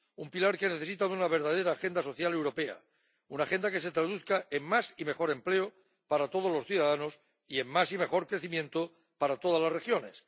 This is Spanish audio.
Un pilar que necesita de una verdadera agenda social europea, una agenda que se traduzca en más y mejor empleo para todos los ciudadanos y en más y mejor crecimiento para todas las regiones